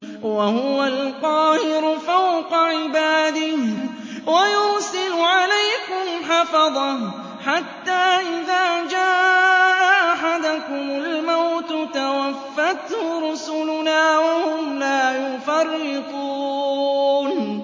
وَهُوَ الْقَاهِرُ فَوْقَ عِبَادِهِ ۖ وَيُرْسِلُ عَلَيْكُمْ حَفَظَةً حَتَّىٰ إِذَا جَاءَ أَحَدَكُمُ الْمَوْتُ تَوَفَّتْهُ رُسُلُنَا وَهُمْ لَا يُفَرِّطُونَ